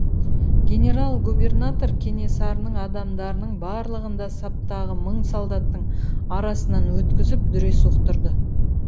генерал губернатор кенесарының адамдарының барлығын да саптағы мың солдаттың арасынан өткізіп дүре соқтырды